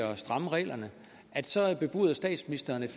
og stramme reglerne så bebuder statsministeren at